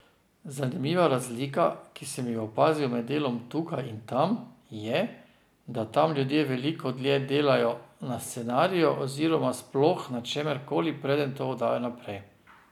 Zanimiva razlika, ki sem jo opazil med delom tukaj in tam, je, da tam ljudje veliko dlje delajo na scenariju oziroma sploh na čemer koli, preden to oddajo naprej.